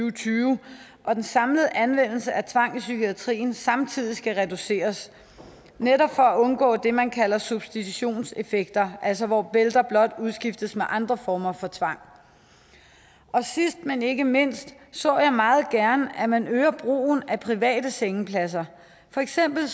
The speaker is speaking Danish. og tyve og at den samlede anvendelse af tvang i psykiatrien samtidig skal reduceres netop for at undgå det man kalder substitutionseffekter altså hvor bælter blot udskiftes med andre former for tvang sidst men ikke mindst så jeg meget gerne at man øger brugen af private sengepladser for eksempel